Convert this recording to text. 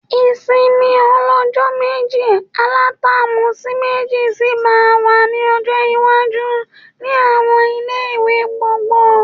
Ìsinmi ọlọ́jọ́ méjì alatáàmù sí méjì sì máa wà ní ọjọ́ iwájú ni àwọn ilé-ìwé gbogbo